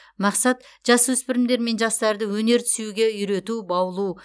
мақсат жасөспірімдер мен жастарды өнерді сүюге үйрету баулу